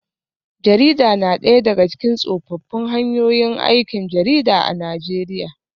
Jarida na daya daga cikin tsofaffin hanyoyin aikin jarida a Najeriya